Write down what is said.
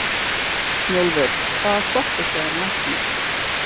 Snjólfur, hvaða stoppistöð er næst mér?